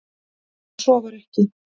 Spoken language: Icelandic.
En svo var ekki